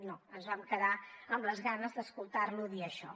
no ens vam quedar amb les ganes d’escoltar lo dir això